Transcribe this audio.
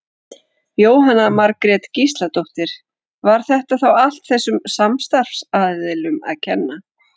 Jóhanna Margrét Gísladóttir: Var þetta þá allt þessum samstarfsaðilum að kenna?